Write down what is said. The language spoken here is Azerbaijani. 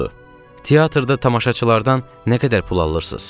Teatrda tamaşaçılardan nə qədər pul alırsız?